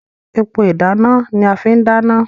Epo ìdáná ni a fi n dana.